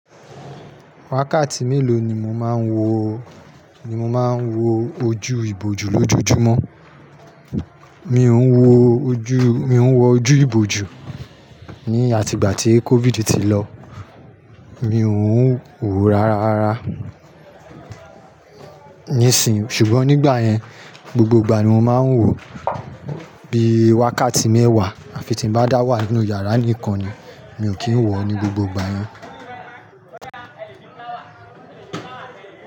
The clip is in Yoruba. Wákàtí méló ni mo máa ń wo, ni mo máa ń wo ojú ìbòjú lójóójúmọ́? Mi ó ń wo ojú, mi ó ń wo ojú ìbòjú ní àti ìgbà tí COVID ti lọ. Mí ó ń wó rárá rárá. Níìsín, ṣùgbọ́n nígbà yẹn, gbogbo ìgbà ni mo máa ń wòó bí wákàtí mẹ́wàá, à fi tí ń bá dá wà nínú yàrá nìkan ni. Mí ó kí ń wòó ní gbogbo gbà yen.